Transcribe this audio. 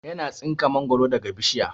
Yana tsinka mangoro daga bishiya